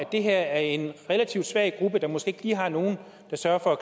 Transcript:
det her er en relativt svag gruppe der måske lige har nogen der sørger for